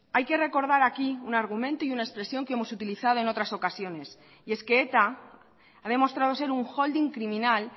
hay que recordar aquí un argumento y una expresión que hemos utilizado en otras ocasiones y es que eta ha demostrado ser un holding criminal